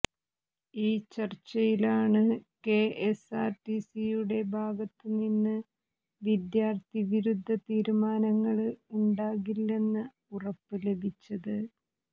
ഈ ചര്ച്ചയിലാണ് കെഎസ്ആര്ടിസിയുടെ ഭാഗത്ത് നിന്ന് വിദ്യാര്ത്ഥി വിരുദ്ധ തീരുമാനങ്ങള് ഉണ്ടാകില്ലെന്ന ഉറപ്പും ലഭിച്ചത്